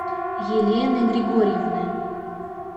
елены григорьевны